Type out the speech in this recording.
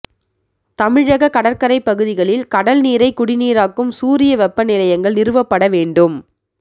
தமிழகக் கடற்கரைப் பகுதிகளில் கடல்நீரைக் குடிநீராக்கும் சூரிய வெப்ப நிலையங்கள் நிறுவப்பட வேண்டும்